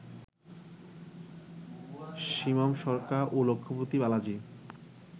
শিবম শর্মা ও লক্ষ্মীপতি বালাজি